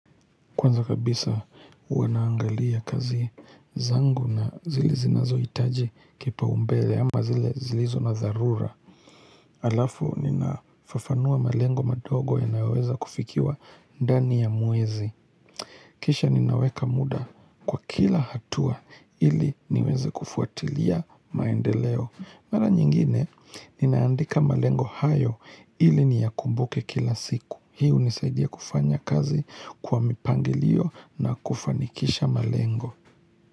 Kwanza kabisa huwa naangalia kazi zangu na zile zinazohitaji kipaumbele ama zile zilizo na zarura. Halafu ninafafanua malengo madogo yanayoweza kufikiwa ndani ya mwezi. Kisha ninaweka muda kwa kila hatua ili niweze kufuatilia maendeleo. Mara nyingine ninaandika malengo hayo ili niyakumbuke kila siku. Hiu hunisaidia kufanya kazi kwa mipangilio na kufanikisha malengo.